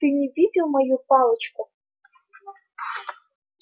ты не видел мою палочку